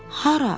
Hara?